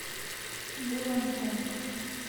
вуллонгонг